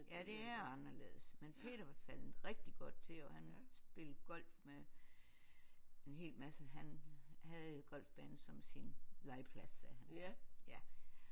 Ja det er anderledes men Peter var faldet rigtig godt til og han spillede golf med en hel masse han havde golfbanen som sin legeplads sagde han ja